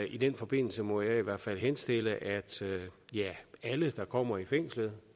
i den forbindelse må jeg i hvert fald henstille at alle der kommer i fængslet